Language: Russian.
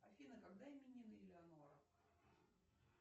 афина когда именины элеонора